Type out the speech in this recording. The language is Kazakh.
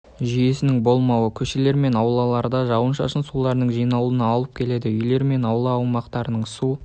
жүйесінің болмауы көшелер мен аулаларда жауын-шашын суларының жиналуына алып келді үйлер мен аула аумақтарын су